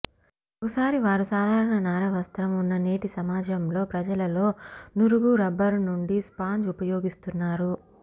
ఒకసారి వారు సాధారణ నార వస్త్రం ఉన్న నేటి సమాజంలో ప్రజలలో నురుగు రబ్బరు నుండి స్పాంజ్ ఉపయోగిస్తున్నారు